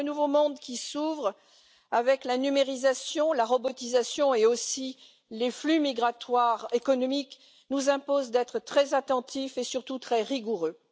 Alors, le nouveau monde qui s'ouvre, avec la numérisation, la robotisation et aussi les flux migratoires économiques, nous impose d'être très attentifs et surtout très rigoureux.